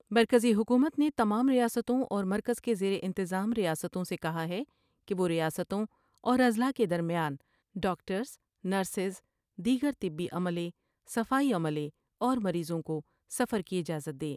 مرکزی حکومت نے تمام ریاستوں اور مرکز کے زیرانتظام ریاستوں سے کہا ہے کہ وہ ریاستوں اور اضلاع کے درمیان ، ڈاکٹرس ، نرسیس ، دیگر طبی عملے ، صفائی عملے اور مریضوں کوسفر کی اجازت دے ۔